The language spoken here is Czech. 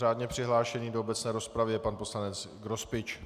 Řádně přihlášený do obecné rozpravy je pan poslanec Grospič.